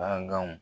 Baganw